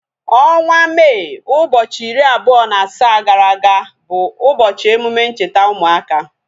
Ọnwa Mee ụbọchị iri abụọ na asaa gara aga bụ ụbọchị emume ncheta ụmụaka